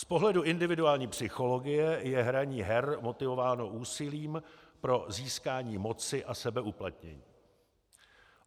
Z pohledu individuální psychologie je hraní her motivováno úsilím pro získání moci a sebeuplatnění.